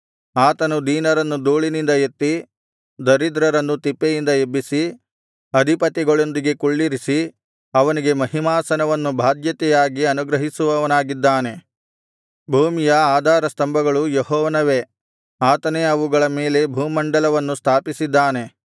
ಆತನು ದೀನರನ್ನು ಧೂಳಿನಿಂದ ಎತ್ತಿ ದರಿದ್ರರನ್ನು ತಿಪ್ಪೆಯಿಂದ ಎಬ್ಬಿಸಿ ಅಧಿಪತಿಗಳೊಂದಿಗೆ ಕುಳ್ಳಿರಿಸಿ ಅವನಿಗೆ ಮಹಿಮಾಸನವನ್ನು ಬಾಧ್ಯತೆಯಾಗಿ ಅನುಗ್ರಹಿಸುವವನಾಗಿದ್ದಾನೆ ಭೂಮಿಯ ಆಧಾರಸ್ತಂಭಗಳು ಯೆಹೋವನವೇ ಆತನೇ ಅವುಗಳ ಮೇಲೆ ಭೂಮಂಡಲವನ್ನು ಸ್ಥಾಪಿಸಿದ್ದಾನೆ